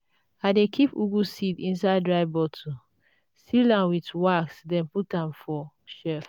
i dey keep ugwu seeds inside dry bottle seal am with wax then put am for shelf.